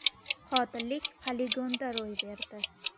Qotillik poligonda ro‘y berdi.